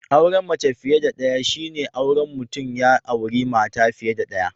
Auren mace fiye da daya shi ne Mutum ya auri mata fiye da daya.